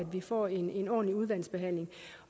vi får en ordentlig udvalgsbehandling